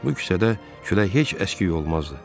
Bu küçədə külək heç əski olmazdı.